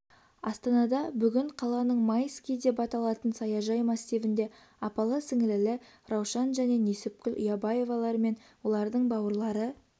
астанада бүгін қаланың майский деп аталатын саяжай массивінде апалы-сіңлілі раушан және несіпкүл ұябаевалар мен олардың бауырлары